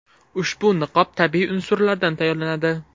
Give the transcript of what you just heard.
Ushbu niqob tabiiy unsurlardan tayyorlanadi.